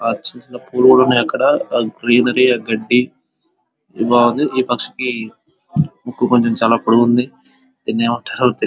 చిన్న చిన్న పురుగులు ఉన్నాయ్ అక్కడ ఆ గ్రీనరీ ఆ గడ్డి బావుంది ఈ పక్షికి ముక్కు కొంచెం పొడవుగా ఉంది దీన్నేమంటారో తెలియదు